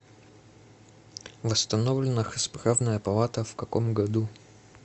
восстановлена расправная палата в каком году